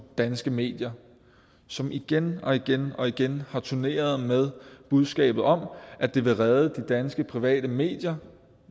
danske medier som igen og igen og igen har turneret med budskabet om at det vil redde de danske private medier